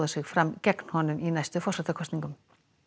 sig fram gegn honum í næstu forsetakosningum